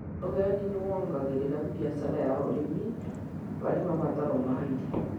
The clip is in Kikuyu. Ũgendi nĩ wongereraga biacara ya ũrĩmi harĩ mabataro ma irio.